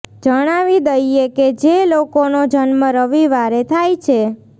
જણાવી દઈએ કે જે લોકોનો જન્મ રવિવારે થાય છે